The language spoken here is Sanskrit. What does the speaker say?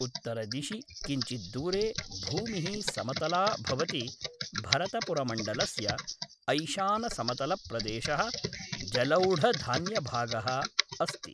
उत्तरदिशि किञ्चित् दूरे भूमिः समतला भवति, भरतपुरमण्डलस्य ऐशानसमतलप्रदेशः जलौढधान्यभागः अस्ति।